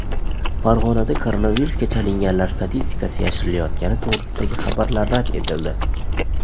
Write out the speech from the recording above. Farg‘onada koronavirusga chalinganlar statistikasi yashirilayotgani to‘g‘risidagi xabarlar rad etildi.